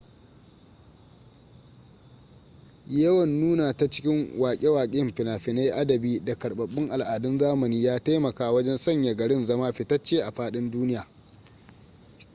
yawan nuna ta cikin wake wake fina-finai adabi da karbabbun al'adun zamani ya taimaka wajen sanya garin zama fitacce a fadin duniya